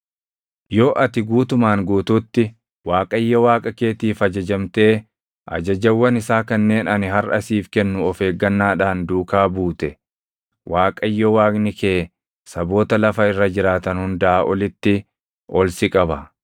Yoo ati guutumaan guutuutti Waaqayyo Waaqa keetiif ajajamtee ajajawwan isaa kanneen ani harʼa siif kennu of eeggannaadhaan duukaa buute, Waaqayyo Waaqni kee saboota lafa irra jiraatan hundaa olitti ol si qaba.